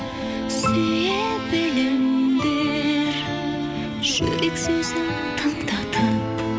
сүйе біліңдер жүрек сөзін тыңдатып